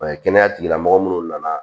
kɛnɛya tigilamɔgɔw minnu nana